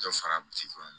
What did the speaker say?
Dɔ sara